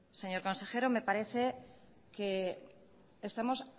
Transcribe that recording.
señor consejero me parece que estemos